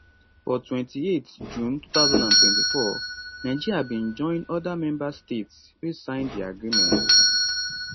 for 28 june 2024 nigeria bin join oda member states wey sign di agreement